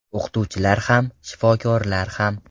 O‘qituvchilar ham, shifokorlar ham.